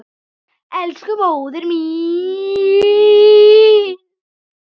Elsku móðir mín.